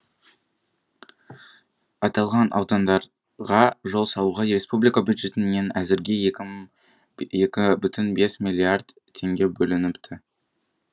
аталған аудандарға жол салуға республика бюджетінен әзірге екі бүтін бес миллиард теңге бөлініпті